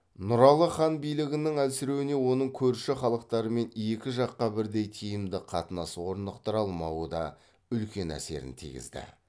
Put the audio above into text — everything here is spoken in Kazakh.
нұралы хан билігінің әлсіреуіне оның көрші халықтармен екі жаққа бірдей тиімді қатынас орнықтыра алмауы да үлкен әсерін тигізді